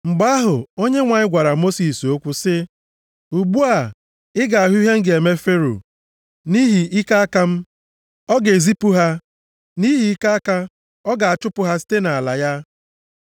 Mgbe ahụ, Onyenwe anyị gwara Mosis okwu sị, “Ugbu a, ị ga-ahụ ihe m ga-eme Fero. Nʼihi ike aka m, ọ ga-ezipụ ha. Nʼihi ike aka, ọ ga-achụpụ ha site nʼala ya.”